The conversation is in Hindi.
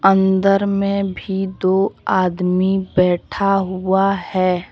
अंदर में भी दो आदमी बैठा हुआ है।